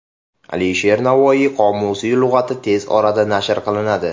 Alisher Navoiy qomusiy lug‘ati tez orada nashr qilinadi.